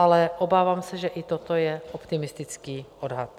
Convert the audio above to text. Ale obávám se, že i toto je optimistický odhad.